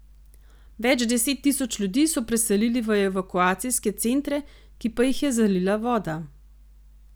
Več deset tisoč ljudi so preselili v evakuacijske centre, ki pa jih je zalila voda.